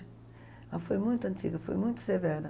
Ela foi muito antiga, foi muito severa.